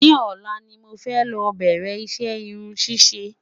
ni òla ní mọ fẹ ló bẹrẹ iṣẹ irún ṣiṣẹ